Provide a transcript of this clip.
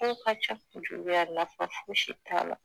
Ko ka ca juguya nafa fosi t'a la